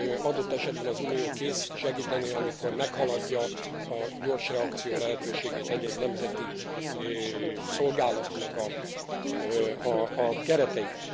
adott esetben az Unió kész segíteni, amikor meghaladják a gyors reakció lehetőségét egy egy nemzeti szolgálatnak a keretei.